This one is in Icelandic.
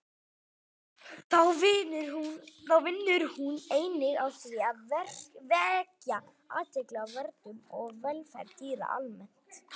Þá vinnur hún einnig að því að vekja athygli á verndun og velferð dýra almennt.